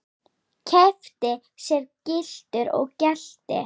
Keypti sér gyltur og gelti.